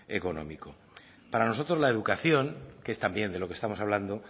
económico para nosotros la educación que es también de lo que estamos hablando